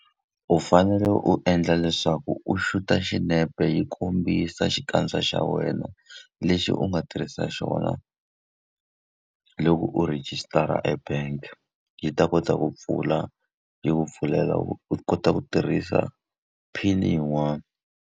U fanele u endla leswaku u shoot-a xinepe yi kombisa xikandza xa wena lexi u nga tirhisa xona loko u rejistara e-bank-e, yi ta kota ku pfula yi ku pfulela u u kota ku tirhisa PIN-i yin'wani.